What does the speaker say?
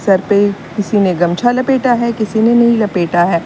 Sir पे किसी ने गमछा लपेटा है किसी ने नहीं लपेटा है।